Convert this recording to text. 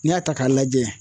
N'i y'a ta k'a lajɛ.